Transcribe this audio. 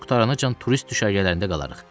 Pulumuz qurtaranacan turist düşərgələrində qalarıq.